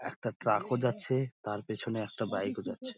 একটা ট্র্যাক -ও যাচ্ছে তার পিছনে একটা বাইক -ও যাচ্ছে |